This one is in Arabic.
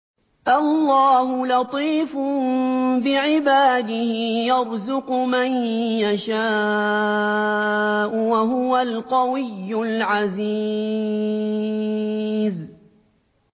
اللَّهُ لَطِيفٌ بِعِبَادِهِ يَرْزُقُ مَن يَشَاءُ ۖ وَهُوَ الْقَوِيُّ الْعَزِيزُ